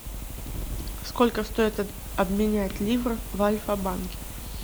сколько стоит обменять ливр в альфа банке